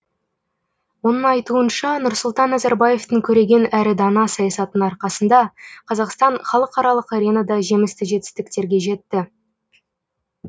оның айтуынша нұрсұлтан назарбаевтың көреген әрі дана саясатының арқасында қазақстан халықаралық аренада жемісті жетістіктерге жетті